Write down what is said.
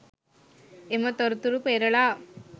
එම තොරතුරු පෙරළා